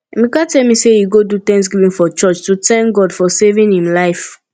emeka tell me say he do thanksgiving for church to thank god for saving im life